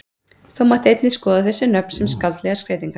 Þó mætti einnig skoða þessi nöfn sem skáldlegar skreytingar.